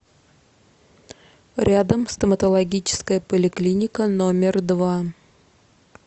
рядом стоматологическая поликлиника номер два